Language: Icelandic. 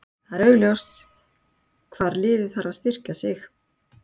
Það er augljóst hvar liðið þarf að styrkja sig.